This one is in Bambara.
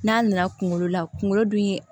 N'a nana kunkolo la kunkolo dun ye